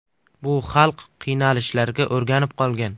Bu xalq qiynalishlarga o‘rganib qolgan.